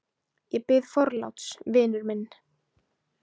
Ég biðst forláts, vinur minn.